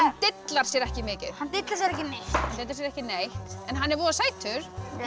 dillar sér ekki mikið hann dillar sér ekki neitt dillar sér ekki neitt en hann er voða sætur